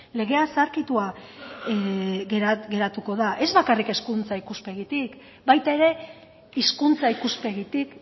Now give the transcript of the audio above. legea zaharkitua geratuko da ez bakarrik hezkuntza ikuspegitik baita ere hizkuntza ikuspegitik